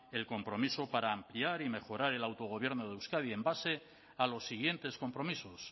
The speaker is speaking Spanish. el compromiso para ampliar y mejorar el autogobierno de euskadi en base a los siguientes compromisos